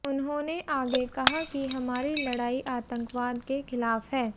उन्होंने आगे कहा कि हमारी लड़ाई आतंकवाद के खिलाफ है